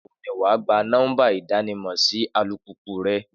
Nígbà wo ni wà á gba nọ́mbà ìdámọ̀ sí alùpùpù rẹ?